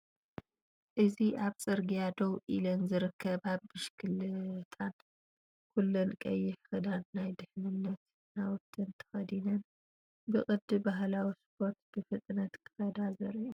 እዚ ኣብ ጽርግያ ደው ኢለን ዝርከባ ብሽክለታን ፡ ኩለን ቀይሕ ክድን ናይ ድሕነት ናውትን ተኸዲነን፡ ብቅዲ ባህላዊ ስፖርት ብፍጥነት ክኸዳ ዘርኢ እዩ።